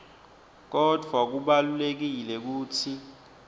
kodvwa kubalulekile kutsi